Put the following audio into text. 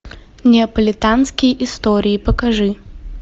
неаполитанские истории покажи